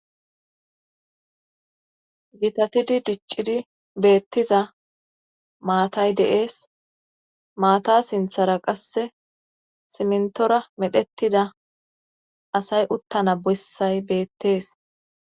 gitatidi diccidi beettiza maatay de'ees maata sinthara qasse simntora medhettida asay uttana bessay beettees